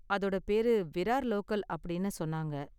அதோட பேரு விரார் லோக்கல் அப்படின்னு சொன்னாங்க.